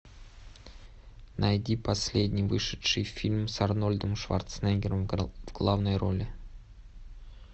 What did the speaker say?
найди последний вышедший фильм с арнольдом шварценеггером в главной роли